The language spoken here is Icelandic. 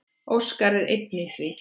Óskar er einn í því.